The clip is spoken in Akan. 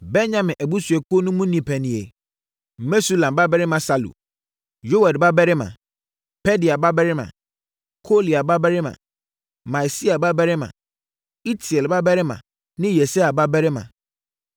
Benyamin abusuakuo no mu nnipa nie: Mesulam babarima Salu, Yoed babarima, Pedaia babarima, Kolaia babarima, Maaseia babarima, Itiel babarima ne Yesaia babarima;